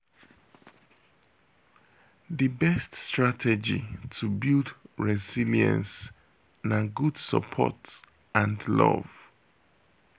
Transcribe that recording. di best strategy to build resilience na good support and love.